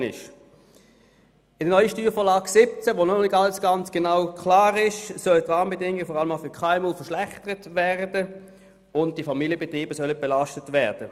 In der neuen Steuervorlage 2017, bei der noch nicht alles ganz klar ist, sollen ein paar Bedingungen, vor allem für KMUs, verschlechtert und Familienbetriebe belastet werden.